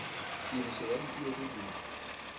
tiriso ya dipuo tse dintsi